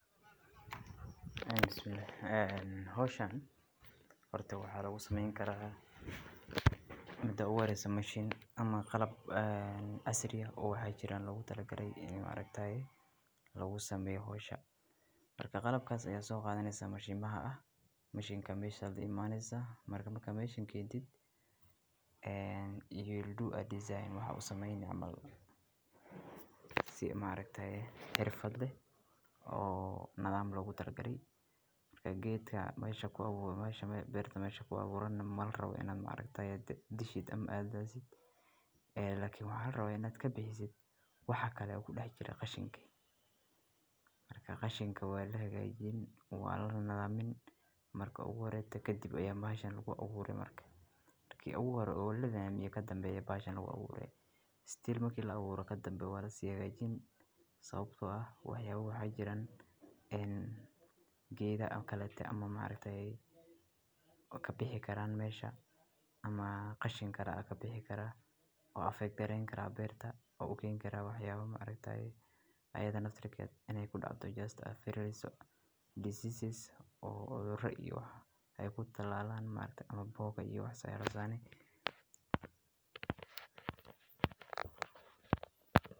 Howshan horta waxaa lagu sameyn karaa waa u samayn karaa midka u wareysa mashiin ama qalab, aah asri ah oo ha jiraan lagu talagalay iyo maareytaaga loogu sameeyo hawsha. Qalab kaas ayaa soo gaadhay mashiimaha ah Maishinkaniisii. Markaba ka meeshin keentid you will do a design maxa u samaynay amal si maalintee xirfad leh oo nadaam lagu talgalay. Gaariga meesha ku abuuray meesha beerta meesha ku abuurana maal raw inaad maalintay dishid ama aadaad isagoo waa inaad ka bixiso waxaa kale oo ku dhex jira qashinka. Marka qashinka waa la hagajini oo nidamini marka u waareedka ka dib ayaa baahan lagu abuuray marka markii ugu waa lagana miyaa ka danbeeyay baashaan ugu abuuray. Still markii la abuuray ka danbeysa waa la si yaga ijin sababtoo ah. Waaxyaabu wuxuu jiray in gaariga kala aad ama maalintee ay ka bixi karaan meesha ama qashin kara aka bixi kara oo affect garayn karaa beerta oo ogeyn kara. Waaxyaabu maalintee ayadan ad ragay inay ku dhafto just iyo diseases iyo cuduro wax ay ku talaalan maalintii ama boqoka iyo wax saar ardayneyd.